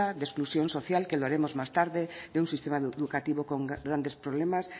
de exclusión social que lo haremos más tarde de un sistema educativo con grandes problemas